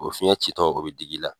O fiɲɛ ci tɔ o bi digi la.